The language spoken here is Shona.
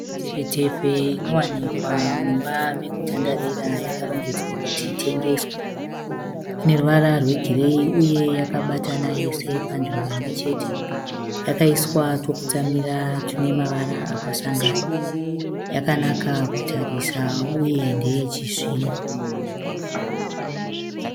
Mitepfetepfe inowanikwa mumba mekutandarira yakarongedzwa kuti itengeswe. Ine ruvara rwegireyi uye yakabatana yese panzvimbo imwe chete. Yakaiswa twokutsamira tune mavara akasangana. Yakanaka kutarisa uye ndeye chizvino.